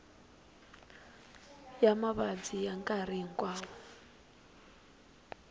ya mavabyi ya nkarhi hinkwawo